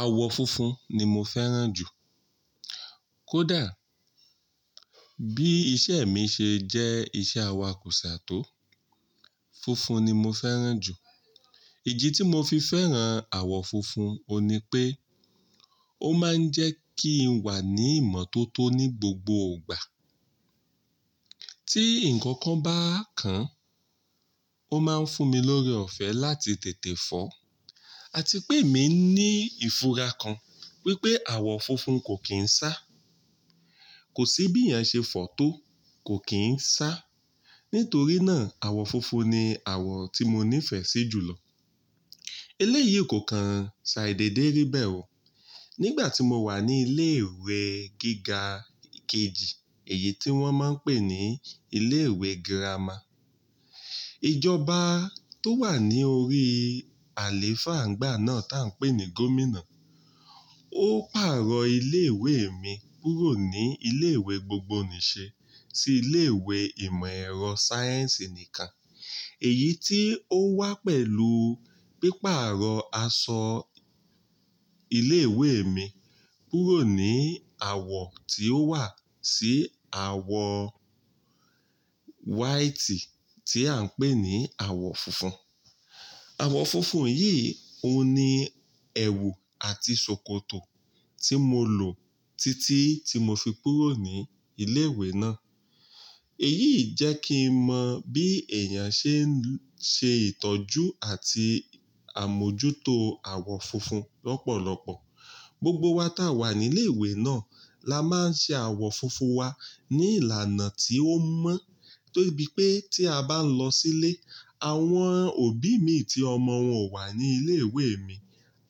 Àwọ̀ funfun ni mo fẹ́ràn jù. Kódà bí iṣẹ́ mi ṣe jẹ́ iṣẹ́ awakùsà tó, funfun ni mo fẹ́ràn jù. Idi ti mo fi fẹ́ràn àwọ̀ funfun, òní pé, ó máa ń jẹ́ kí n wà ní ìmọ́tótó ní gbogbo ìgbà. Tí ǹkan kan bá kan, ó máa ń fún mi lóre ọ̀fẹ́ láti tètè fọ́, àti pé èmi ní ìfura kan wípé àwọ̀ funfun kò kí ń sá. Kò sí bí eeyàn ṣe fọ tó, kò kí ń sá. Nítorí náà, àwọ̀ funfun ni àwọ̀ tí mo nífẹ̀ẹ́ sí jù lọ. Eléyìí kò kan ṣàì dèédérí bẹ́ẹ̀ wò. Nígbà tí mo wà ní ilé ìwé gíga kejì, èyí tí wón máa ń pè ní ilé ìwé gírámà. Ijọba tó wà ní orí àléfà ńgbà náà tá ń pè ní Gómìnà, ó pàrọ̀ ilé ìwé mi kúrò ní ilé ìwé gbogbonìṣe sí ilé ìwé ìmọ̀ ẹ̀rọ sáyẹ́ǹsì nìkan. Èyí tí ó wá pẹ̀lú pípàrọ̀ asọ ilé ìwé mi kúrò ní àwọ̀ tí ó wà sí àwọ̀ white tí à ń pè ní àwọ̀ funfun. Àwọ̀ funfun yìí òun ní ẹwù àti ṣòkòtò tí mo lò títí tí mo fi kúrò ní ilé ìwé náà. Èyí jẹ́ kí n mọ bí èèyàn ṣe ń ṣe ìtọ́jú àti àmójútó àwọ̀ funfun lọ́pọ̀lọpọ̀. Gbogbo wa ta wà ní ilé ìwé náà la máa ń ṣe àwọ̀ funfun wa ní ìlànà tí ó mọ́. De bí pé tí a bá ń lọ sílé, àwọn òbí mi tí ọmọ wọn wà ní ilé ìwé mi,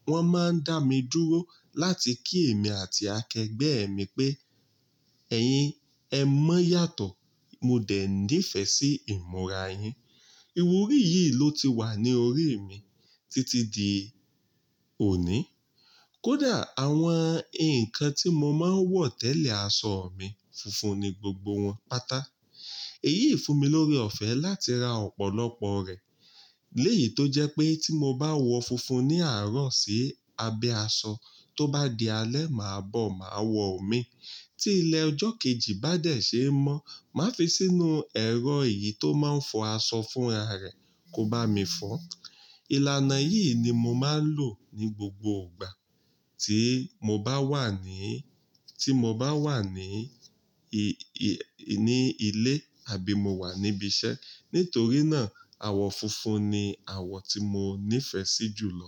wón máa ń dá mi dúró láti kí èmi àti akẹgbẹ́ mi pé "ẹ̀yin ẹ mọ́ yàtọ̀, mo dẹ̀ nífẹ̀ẹ́ sí ìmúra yín". Iwúrí yìí ló ti wà ní orí mi títí di òní. Kódà àwọn ǹkan tí mo máa ń wọ̀ tẹ́lẹ̀ aṣọ mi, funfun ni gbogbo wọn, pátá. Èyí fún mi lóre ọ̀fẹ́ láti ra ọ̀pọ̀lọpọ̀ rẹ̀. Lẹ́yìí tó jẹ́ pé tí mo bá wọ funfun ní àárọ̀ sí abẹ́ asọ, tó bá di alẹ́ màá bọ̀, màá wọ omi. Tí ilẹ̀ ọjọ́ kejì bá dẹ̀ ṣe n mọ́, màá fi sínú ẹ̀rọ eyìí tó máa ń fọ aṣọ fúnra rẹ̀, kó bá mi fọ́n. Ìlànà yìí ni mo máa ń lò ní gbogbo ìgbà tí mo bá wà ní, tí mo bá wà ní, ní ilé àbí mo wà níbi iṣẹ́. Nítorí náà, àwọ̀ funfun ni àwọ̀ tí mo nífẹ̀ẹ́ sí jù lọ.